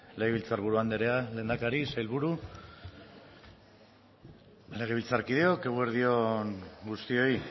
legebiltzarburu andrea lehendakari sailburu legebiltzarkideok eguerdi on guztioi